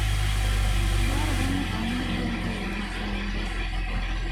dwarore ni ong'I gwen eyo makende.